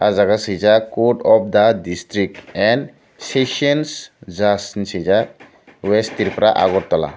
o jaga sijak court of the district and sessions judge hing sijak west tripura agartala.